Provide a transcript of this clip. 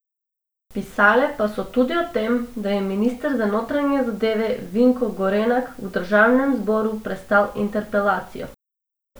Pisale pa so tudi o tem, da je minister za notranje zadeve Vinko Gorenak v državnem zboru prestal interpelacijo.